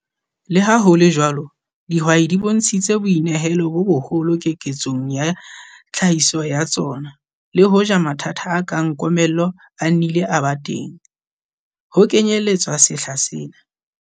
Le ha ho le jwalo, dihwai di bontshitse boinehelo bo boholo keketsong ya tlhahiso ya tsona le hoja mathata a kang komello a nnile a ba teng, ho kenyelletswa sehla sena.